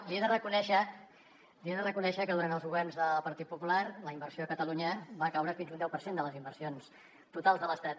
li he de reconèixer que durant els governs del partit popular la inversió a catalunya va caure fins a un deu per cent de les inversions totals de l’estat